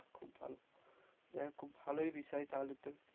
খুব ভালো। যাই হোক খুব ভালোই বিষয় তাহলে তো